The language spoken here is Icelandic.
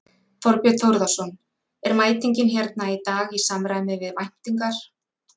Þorbjörn Þórðarson: Er mætingin hérna í dag í samræmi við væntingar?